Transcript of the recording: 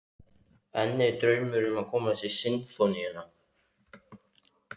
En er draumur að komast í Sinfóníuna?